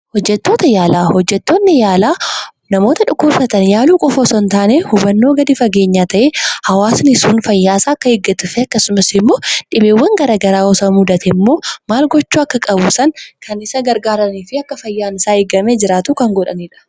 Hojjettoota yaalaa. Hojjettoonni yaalaa namoota dhukkubsatan yaaluu qofa osoo hin taanee hubannoo gadi fageenyaa ta'e hawwaasni sun fayyaa isaa akka eeggatuu fi akkasumas immoo dhibeewwan garaa garaa osoo mudate ammoo maal gochuu akka qabu sana kan isa gargaaranii fi akka fayyaan isaa eeggamee jiraatu kan godhaniidha.